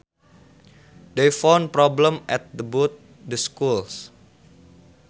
They found problems at both the schools